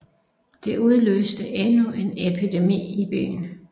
Det udløste endnu en epidemi i byen